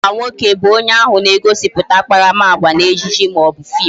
Agwa nwoke bu onye ahụ na-egosiputa akparamagwa n'ejije maọbu fim